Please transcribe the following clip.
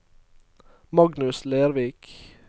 Magnus Lervik